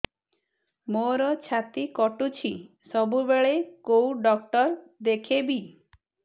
ମୋର ଛାତି କଟୁଛି ସବୁବେଳେ କୋଉ ଡକ୍ଟର ଦେଖେବି